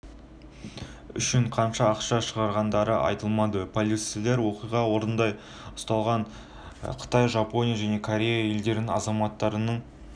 үшін қанша ақша шығындағандары айтылмады полицейлер оқиға орнында ұсталған қытай жапония және корея елдерінің азаматтарының